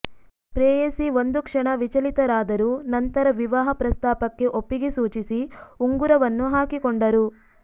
ಪ್ರೇಯಸಿ ಒಂದು ಕ್ಷಣ ವಿಚಲಿತರಾದರು ನಂತರ ವಿವಾಹ ಪ್ರಸ್ತಾಪಕ್ಕೆ ಒಪ್ಪಿಗೆ ಸೂಚಿಸಿ ಉಂಗುರವನ್ನು ಹಾಕಿಕೊಂಡರು